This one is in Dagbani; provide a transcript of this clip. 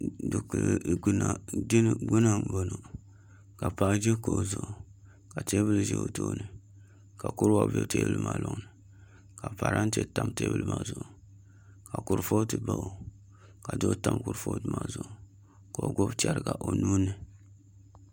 Dikili jina gbuni n boŋo ka paɣa ʒi kuɣu zuɣu ka teebuli ʒʋ o tooni ka kuriga bɛ teebuli maa loŋni ka parantɛ tam teebuli maa zuɣu ka kurifooti ʒɛya ka duɣu tam kurifooti maa zuɣu ka o gbubo chɛriga o nuuni